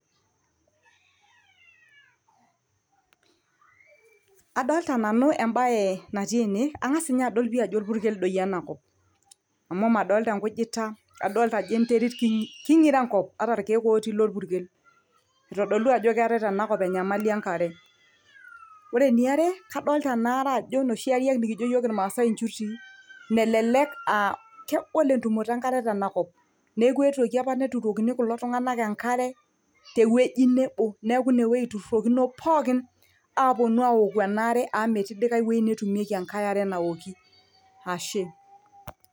Adoolta nanu embae natii ene, angas ninye adolita ajo olpurkel doi enakop amu madolita enkujita adolita ajo enterit keinkiro enkop, ata ilkeek otii ilopurkel aitodolu ajo keetai tenakop enyamali enkare. Ore eniare adolita ajo enoshi are nikijo iyiook ilmaasai injutii melelek kegol entumoto enkare tenakop, neeku eetuoki apa neturoki kulo tunganak enkare, tewoji nebo neeku ine eirrokoni pookin aaponu aoku enkare amu metii ai woji netumieki enkae are naoki ashe.